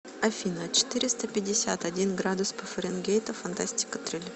афина четыреста пятьдесят один градус по фаренгейту фантастика триллер